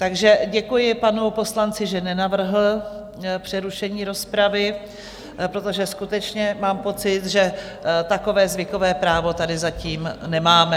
Takže děkuji panu poslanci, že nenavrhl přerušení rozpravy, protože skutečně mám pocit, že takové zvykové právo tady zatím nemáme.